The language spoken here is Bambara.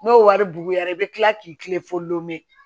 N'o wari buguyara i bɛ tila k'i kilen fo lome